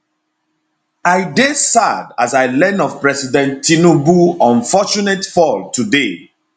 i dey sad as i learn of president tinubu unfortunate fall today